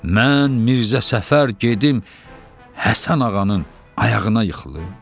Mən Mirzə Səfər gedib Həsən ağanın ayağına yıxılım?